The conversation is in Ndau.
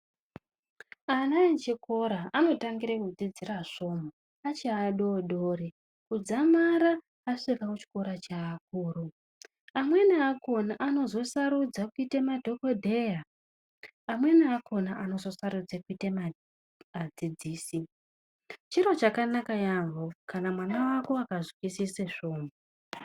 Ana echikora anotangire kudzidzire svomhu achi adodori kudzamara asvike kuchikora cheakuru. Amweni akhona anozosarudze kuita madhokodheya amweni akhona anozosarudze kuite adzidzisi. Chiro chakanaka yamho kana mwana wako akazwisisa svomhu.